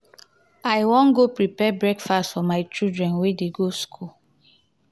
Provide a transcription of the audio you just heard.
i wan go prepare breakfast for my children wey dey go skool.